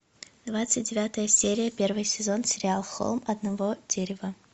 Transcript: двадцать девятая серия первый сезон сериал холм одного дерева